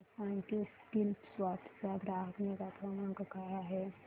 मला सांग की स्कीलसॉफ्ट चा ग्राहक निगा क्रमांक काय आहे